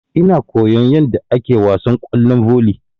Ina koyan yadda ake wasan kwallon volley.